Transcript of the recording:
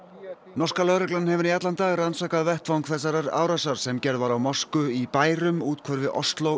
norska lögreglan hefur í allan dag rannsakað vettvang þessarar árásar sem gerð var á mosku í bærum úthverfi Osló